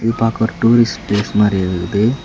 பாக்க ஒரு tourist place மாரி இருக்குது.